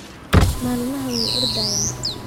Malmaxa way ordhayan.